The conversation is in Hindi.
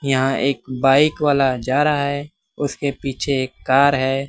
यहां एक बाइक वाला जा रहा है उसके पीछे एक कार है।